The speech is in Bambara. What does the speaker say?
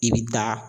I bɛ taa